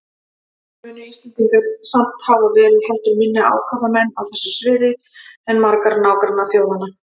Munu Íslendingar samt hafa verið heldur minni ákafamenn á þessu sviði en margar nágrannaþjóðanna.